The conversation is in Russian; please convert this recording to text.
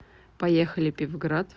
поехали пивград